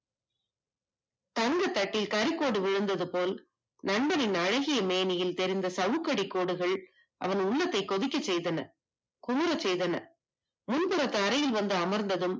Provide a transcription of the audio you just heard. தங்கத் தட்டில் கறிகோடு விழுந்தது போல் நண்பனின் அழகிய மேடையில் இருந்த சவுக்கடி கோடுகள் அவன் உள்ளத்தை கொதிக்க செய்தன குமரச் செய்தன முன்புறத்து அறையில் வந்து அமர்ந்ததும்